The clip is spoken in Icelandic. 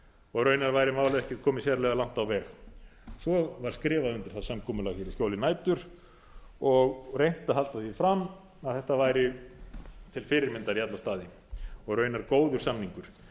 og raunar væri málið ekki komið sérlega langt alveg svo var skrifað undir það samkomulag hér í skjóli nætur og reynt að halda því fram að þetta væri til fyrirmyndar í alla staði og raunar góður samningur